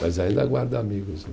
Mas ainda guardo amigos lá.